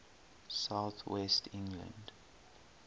south west england